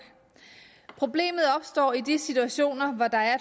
problemet opstår i de situationer hvor der er